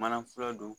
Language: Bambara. Mana fura don